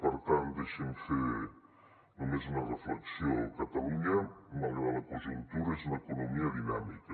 per tant deixi’m fer només una reflexió catalunya malgrat la conjuntura és una economia dinàmica